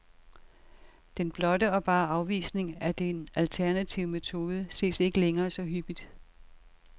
Den blotte og bare afvisning af den alternative metode ses ikke længere så hyppigt.